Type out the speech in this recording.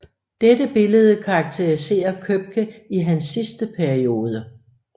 Dette billede karakteriserer Købke i hans sidste periode